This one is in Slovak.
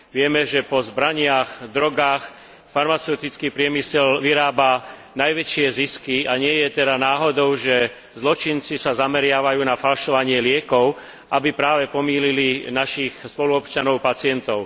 Vieme, že po zbraniach, drogách, farmaceutický priemysel vyrába najväčšie zisky, a nie je teda náhodou, že zločinci sa zameriavajú na falšovanie liekov, aby práve pomýlili našich spoluobčanov, pacientov.